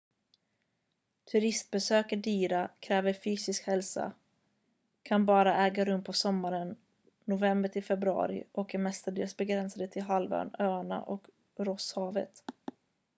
turistbesök är dyra kräver fysisk hälsa kan bara äga rum på sommaren nov-feb och är mestadels begränsade till halvön öarna och rosshavet